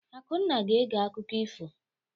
Akunna ga-ege akụkọ ifo.